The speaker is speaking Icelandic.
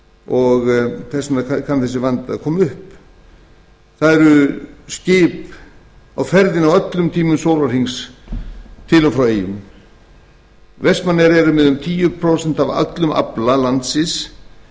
og þess vegna kann þessi vandi að koma upp það eru skip á ferðinni á öllum tímum sólarhrings til og frá eyjum vestmannaeyjar sem eru með um tíu prósent af öllum afla landsins